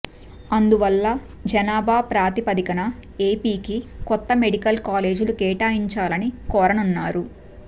అందువల్ల జనాభా ప్రాతిపదికన ఏపీకి కొత్త మెడికల్ కాలేజీలు కేటాయించాలని కోరనున్నారు